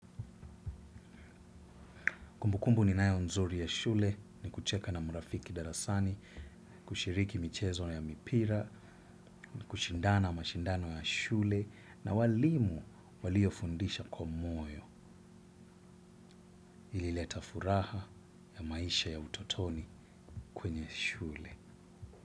Kumbukumbu ninayo nzuri ya shule, ni kucheka na mrafiki darasani, kushiriki michezo ya mipira, ni kushindana mashindano ya shule, na walimu walio fundisha kwa moyo ilileta furaha ya maisha ya utotoni kwenye shule.